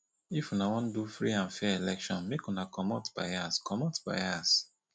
if una wan do free and fair election make una comot bias comot bias